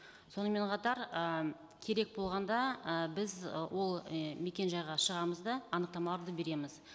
сонымен қатар і керек болғанда і біз ы ол мекенжайға шығамыз да анықтамаларды береміз